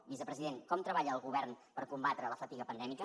vicepresident com treballa el govern per combatre la fatiga pandèmica